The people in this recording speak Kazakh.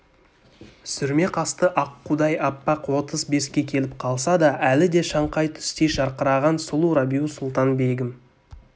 сүрме қасты аққудай аппақ отыз беске келіп қалса да әлі де шаңқай түстей жарқыраған сұлу рабиу-сұлтан-бегім